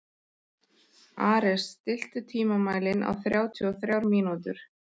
Ares, stilltu tímamælinn á þrjátíu og þrjár mínútur.